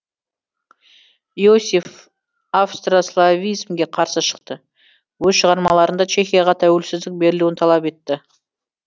йосеф австрославизмге қарсы шықты өз шығармаларында чехияға тәуелсіздік берілуін талап етті